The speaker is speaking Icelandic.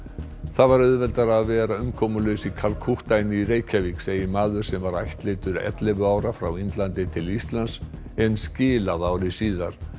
það var auðveldara að vera umkomulaus í Kalkútta en í Reykjavík segir maður sem ættleiddur var ellefu ára frá Indlandi til Íslands en skilað ári síðar